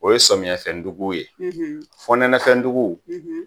O ye samiyɛfɛndugu ye fonɛnɛfɛndugu